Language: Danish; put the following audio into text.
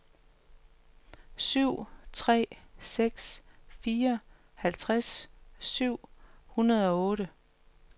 syv tre seks fire halvtreds syv hundrede og otte